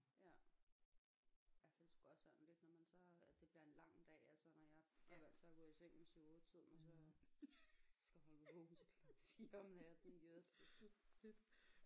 Ja altså det er sgu også sådan lidt når man så har det bliver en lang dag altså når jeg sådan er vant til at gå i seng ved 7 8 tiden og så skal holde mig vågen til klokken 4 om natten jøsses